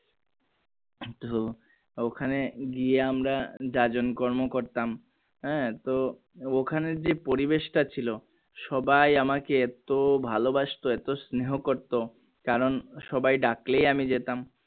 ওখানে গিয়ে আমরা জাজন কর্ম করতাম আহ তো ওখানে যে পরিবেশটা ছিল সবাই আমাকে এতো ভালোবাসতো এতো স্নেহ করতো কারণ সবাই ডাকলেই আমি যেতাম।